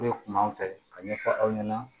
kun b'an fɛ ka ɲɛfɔ aw ɲɛna